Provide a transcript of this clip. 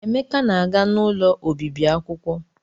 Emeka na-aga n'ụlọ obibi akwụkwọ.